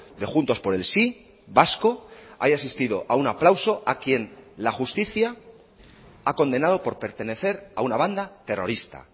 de juntos por el sí vasco haya asistido a un aplauso a quien la justicia ha condenado por pertenecer a una banda terrorista